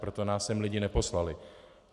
Proto nás sem lidi neposlali.